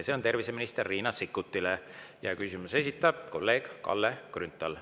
See on terviseminister Riina Sikkutile, küsimuse esitab kolleeg Kalle Grünthal.